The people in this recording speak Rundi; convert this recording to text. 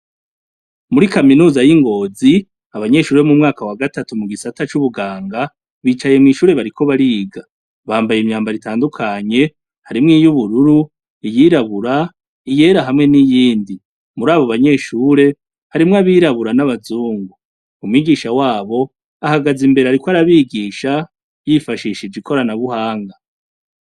Muri kaminuza y'i Ngozi abanyeshure bo mu mwaka wa gatatu mu gisata c'ubuganga bicaye mw'ishure bariko bariga bambaye imyambaro itandukanye, harimwo iy'ubururu, iyirabura, iyera, hamwe n'iyindi, muri abo banyeshure harimwo abirabura n'abazungu, umwigisha wabo ahagaze imbere ariko arabigisha yifashishije ikorana buhanga.